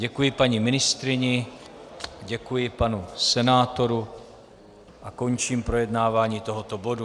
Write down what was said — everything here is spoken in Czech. Děkuji paní ministryni, děkuji panu senátorovi a končím projednávání tohoto bodu.